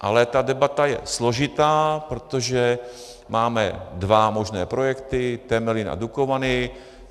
Ale ta debata je složitá, protože máme dva možné projekty, Temelín a Dukovany.